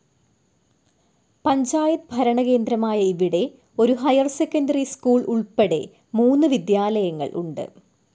പഞ്ചായത്ത് ഭരണകേന്ദ്രമായ ഇവിടെ ഒരു ഹൈർ സെക്കൻഡറി സ്കൂൾ ഉൾപ്പെടെ മൂന്ന് വിദ്യാലയങ്ങൾ ഉണ്ട്.